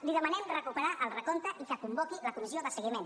li demanem recuperar el recompte i que convoqui la comissió de seguiment